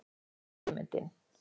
Hvar er fyrirmyndin?